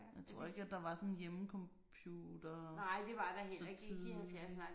Jeg tror ikke at der var sådan hjemmecomputere så tidligt